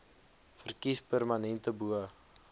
verkies permanente bo